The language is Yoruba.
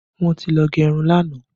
Wọn ti lọ gẹ irun lánàá